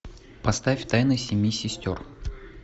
поставь тайны семи сестер